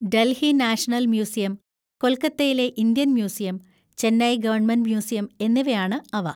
Delhi national museum, കൊൽക്കത്തയിലെ Indian museum, Chennai government museum എന്നിവയാണ് അവ.